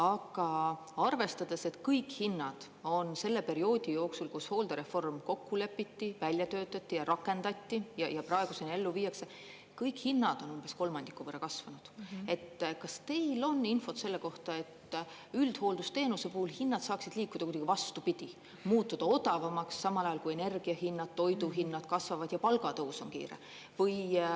Aga arvestades, et kõik hinnad on selle perioodi jooksul, kus hooldereform kokku lepiti, välja töötati ja rakendati ja praeguseni ellu viiakse, kõik hinnad on umbes kolmandiku võrra kasvanud, kas teil on infot selle kohta, et üldhooldusteenuse puhul hinnad saaksid liikuda kuidagi vastupidi, muutuda odavamaks, samal ajal kui energia hinnad, toiduhinnad kasvavad ja palgatõus on kiire?